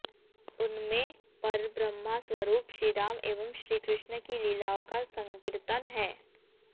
उनमें परब्रह्मस्वरूप श्रीराम एवं श्रीकृष्ण की लीलाओं का संकीर्तन है